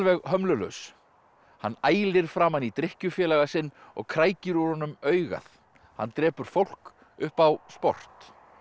hömlulaus hann ælir framan í drykkjufélaga sinn og úr honum augað hann drepur fólk upp á sport